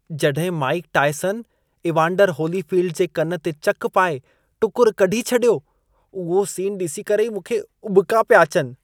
जॾहिं Mike Tyson, Evander Holyfield जे कन ते चक पाए टुकुर कढी छॾियो, उहो सीन ॾिसी करे ई मूंखे उॿिका पिया अचनि।